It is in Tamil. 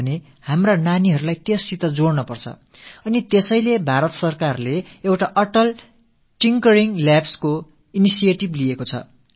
நாம் அடுத்த தலைமுறை புதுமை படைப்பவர்களை உருவாக்க வேண்டும் என்றால் நமது சிறுபிராயத்தினரை இந்தத் திட்டத்தோடு இணைக்க வேண்டும் ஆகையால் தான் இந்திய அரசு அட்டால் டிங்கரிங் லேப்ஸ் என்ற முனைப்பை மேற்கொண்டிருக்கிறது